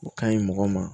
O ka ɲi mɔgɔ ma